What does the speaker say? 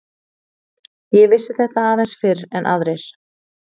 Ég vissi þetta aðeins fyrr en aðrir.